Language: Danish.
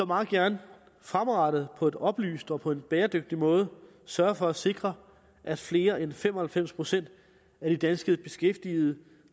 meget gerne fremadrettet og på et oplyst grundlag og på en bæredygtig måde sørge for at sikre at flere end fem og halvfems procent af de danske beskæftigede